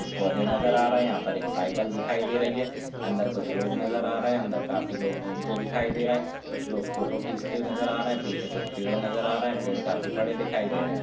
कुछ पौधे नजर आ रहे हैं यहाँ पर साइकिल दिखाई दे रही है अंदर कुछ लोग नजर आ रहे हैं अंदर काफी लोग घूमते दिखाई दे रहे हैं कुछ लोग फोटो खींचते हुए नजर आ रहे हैं पीछे कुछ पेड़ नजर आ रहे हैं पेड़ काफी बड़े दिख रहे हैं।